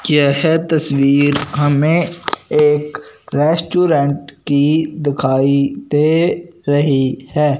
यह तस्वीर हमें एक रेस्टोरेंट की दिखाई दे रही है।